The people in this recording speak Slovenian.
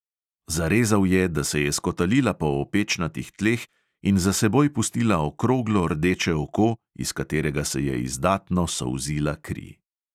Zarezal je, da se je skotalila po opečnatih tleh in za seboj pustila okroglo rdeče oko, iz katerega se je izdatno solzila kri.